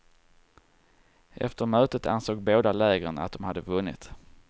Efter mötet ansåg båda lägren att de hade vunnit.